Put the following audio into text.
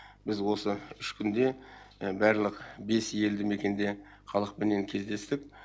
біз осы үш күнде барлық бес елді мекенде халықпенен кездестік